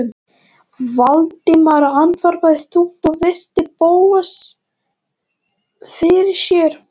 Valdimar andvarpaði þungt og virti Bóas fyrir sér.